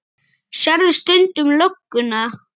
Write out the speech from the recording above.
Jón: Sérðu stundum lögguna?